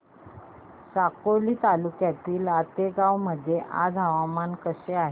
साकोली तालुक्यातील आतेगाव मध्ये आज हवामान कसे आहे